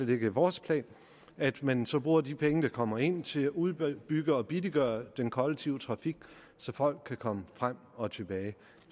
ligger i vores plan at man så bruger de penge der kommer ind til at udbygge og billiggøre den kollektive trafik så folk kan komme frem og tilbage